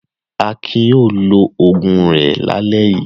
Akin yóò lo òògùn rẹ̀ lálẹ́ yìí.